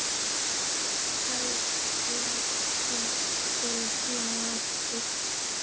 Bæði þrepin voru síðan lækkuð.